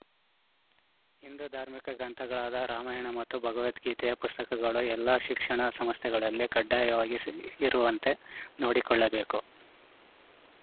ಹಿಂದು ಧಾರ್ಮಿಕ ಗ್ರಂಥಗಳಾದ ರಾಮಾಯಣ ಮತ್ತು ಭಗವದ್ಗೀತೆಯ ಪುಸ್ತಕಗಳು ಎಲ್ಲಾ ಶಿಕ್ಷಣ ಸಂಸ್ಥೆಗಳಲ್ಲಿ ಕಡ್ಡಾಯವಾಗಿ ಸಿ ಇರುವಂತೆ ನೋಡಿಕೊಳ್ಳಬೇಕು